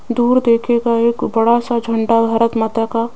दूर देखिएगा एक बड़ा सा झंडा भारत माता का--